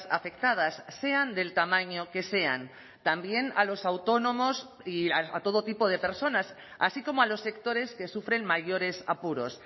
afectadas sean del tamaño que sean también a los autónomos y a todo tipo de personas así como a los sectores que sufren mayores apuros